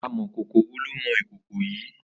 Àmọ̀kókó wó ló mọ̀ ikókó yi?